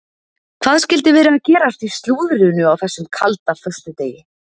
Hvað skyldi vera að gerast í slúðrinu á þessum kalda föstudegi?